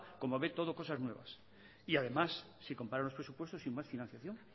como ve todas cosas nuevas y además si compara los presupuestos sin más financiación